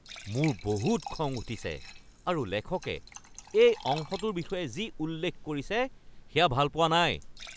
মোৰ বহুত খং উঠিছে আৰু লেখকে এই অংশটোৰ বিষয়ে যি উল্লেখ কৰিছে সেয়া ভাল পোৱা নাই।